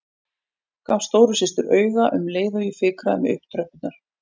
Gaf stóru systur auga um leið og ég fikraði mig upp tröppurnar.